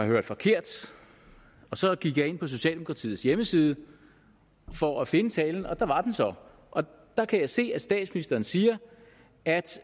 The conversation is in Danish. hørt forkert så gik jeg ind på socialdemokratiets hjemmeside for at finde talen der var den så der kan jeg se at statsministeren siger at